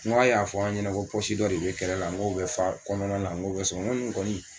N k'a y'a fɔ an ɲɛna ko dɔ de bɛ kɛrɛ la n k'o bɛ fa kɔnɔna la n k'o bɛ sɔn n ko nin kɔni